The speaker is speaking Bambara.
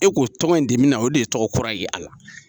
E k'o tɔgɔ in de bi na , o de ye tɔgɔ kura ye a la.